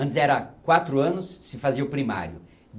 Antes era quatro anos se fazia o primário.